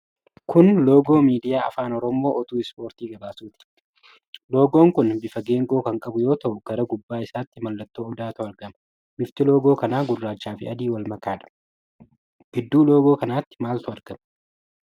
Kun loogoo miidiyaa Afaan Oromoon oduu ispoortii gabaasuti. Loogoon kun bifa geengoo kan qabu yoo ta'u gara gubbaa isaatti mallattoo odaatu argama. Bifti loogoo kanaa gurraacha fi adii wal makaadha. Gidduu loogoo kanaatti maaltu argama?